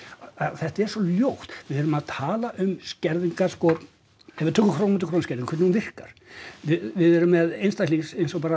þetta er svo ljótt við þurfum að tala um skerðingar sko ef við tölum um krónu fyrir krónu skerðinguna hvernig hún virkar við erum með einstakling